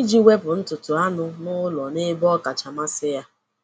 iji wepụ ntutu anụ ụlọ n’ebe ọ kacha masị ya.